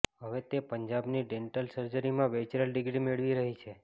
હવે તે પંજાબની ડેન્ટલ સર્જરીમાં બેચરલ ડિગ્રી મેળવી રહી છે